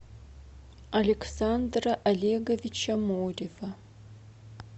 александра олеговича морева